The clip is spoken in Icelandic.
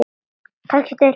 Kannski tveir.